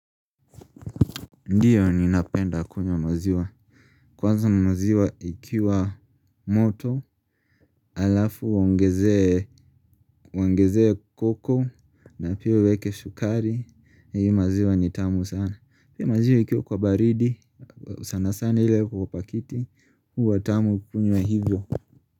Ndiyo ninapenda kunywa maziwa. Kwanza maziwa ikiwa moto. Alafu uongezee cocoa na pia uweke shukari. Hii maziwa ni tamu sana. Pia maziwa ikiwa kwa baridi sana sana ile iko kwa pakiti. Huwa tamu kukunywa hivyo.